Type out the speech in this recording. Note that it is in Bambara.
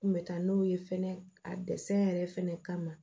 N kun bɛ taa n'o ye fɛnɛ a yɛrɛ fɛnɛ kama